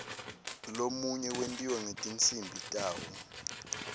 lomunye wentiwa ngetinsimbi tawo